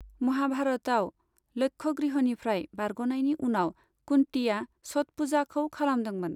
महाभारतआव, लक्षगृहनिफ्राय बारग'नायनि उनाव कुन्तीया छठ पूजाखौ खालामदोंमोन।